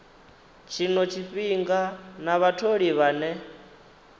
tshino tshifhinga na vhatholi vhane